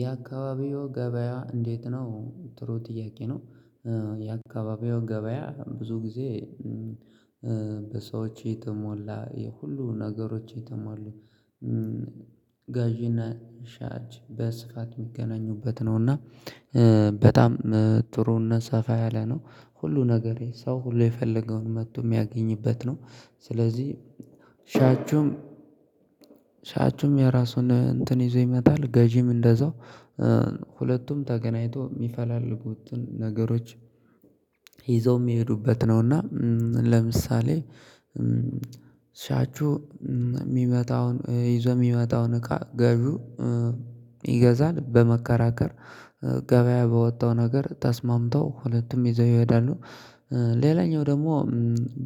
የአካባቢው ገበያ እንዴት ነው? ጥሩ ጥያቄ ነው። የአካባቢው ገበያ ብዙ ጊዜ በሰዎች የተሞላ የሁሉ ነገሮች የተሟሉ ጋዥነ ሻጭ በስፋት የሚገናኙበት ነው። እና በጣም ጥሩነት ሰፋ ያለ ነው። ሁሉ ነገር የሰው ሁሉ የፈለገውን መጥቶ የሚያገኝበት ነው። ስለዚህ ሻችሁም ሻችሁም የራሱን እንትን ይዞ ይመጣል ገዢም እንደዛው ሁለቱም ተገናኝቶ የሚፈላልጉትን ነገሮች ይዘው የሚሄዱበት ነው። እና ለምሳሌ ሻቹ የሚመጣውን ይዘው የሚመጣውን እቃ ገዡ ይገዛል። በመከራከር ገበያ በወጣው ነገር ተስማምተው ሁለቱም ይዘው ይሄዳሉ። ሌላኛው ደግሞ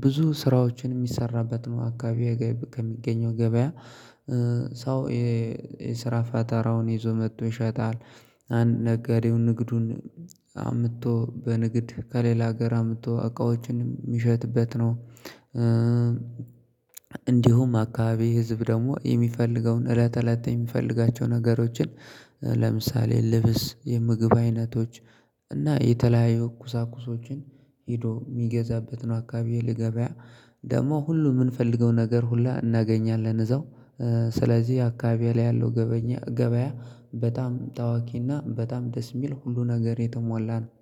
ብዙ ስራዎችን የሚሰራበት ነው። አካባቢ ከሚገኘው ገበያ ሰው የስራ ፋተራውን ይዞ መጥቶ ይሸጣል። አንድ ነገር የሆነ ንግዱን አምጥቶ በንግድ ከሌላ ሀገር አምጥቶ እቃዎችን የሚሸጥበት ነው። እንዲሁም አካባቢ ህዝብ ደግሞ የሚፈልገውን እለት እለት የሚፈልጋቸውን ነገሮችን ለምሳሌ ልብስ፣ የምግብ አይነቶች፣ እና የተለያዩ ኩሳኩሶችን ሄዶ የሚገዛበት ነው። አካባቢ ለገበያ ደግሞ ሁሉ የምንፈልገው ነገር ሁላ እናገኛለን። እዛው ስለዚህ አካባቢ ላይ ያለው ገበያ በጣም ተዋቂና በጣም ደስ የሚል ሁሉ ነገር የተሞላ ነው።